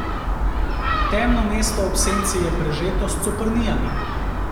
Temno mesto ob Senci je prežeto s coprnijami.